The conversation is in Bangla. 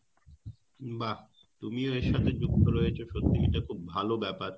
বাহ! তুমিও এর সাথে যুক্ত রয়েছো এটা খুব ভালো ব্যাপার